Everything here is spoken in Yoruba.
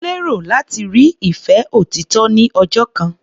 Ó lérò láti rí ìfẹ́ òtítọ́ ní ọjọ́ kan.